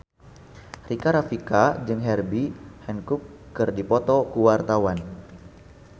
Rika Rafika jeung Herbie Hancock keur dipoto ku wartawan